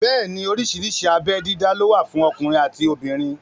Bẹ́ẹ̀ni oríṣiríṣi abé dídá ló wà fún ọkùnrin àti obìnrin